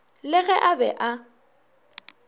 le ge a be a